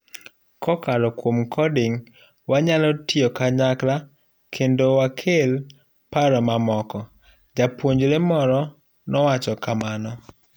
Kokalo kuom coding, wanyalo tiyo kanyakla kendo wakel paro mamoko.''japuonjre moro nowacho kamano.